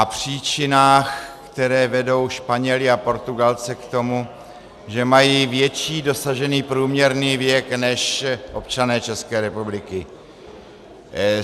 - a příčinách, které vedou Španěly a Portugalce k tomu, že mají větší dosažený průměrný věk než občané České republiky.